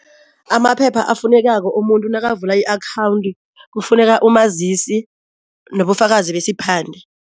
Amaphepha efunekako umuntu nakavula i-akhawundi kufuneka umazisi nobufakazi besiphande.